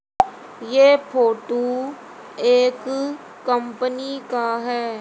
ये फोटु एक कंपनी का है।